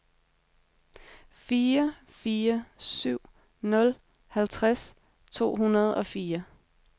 fire fire syv nul halvtreds to hundrede og fire